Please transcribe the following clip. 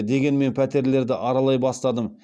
дегенмен пәтерлерді аралай бастадым